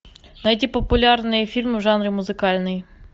найти популярные фильмы в жанре музыкальный